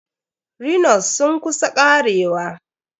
Rhino's sun kus karewa.